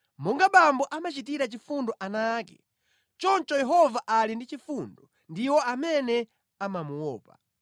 Monga bambo amachitira chifundo ana ake, choncho Yehova ali ndi chifundo ndi iwo amene amamuopa;